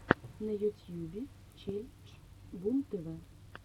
на ютьюбе челлендж бумтв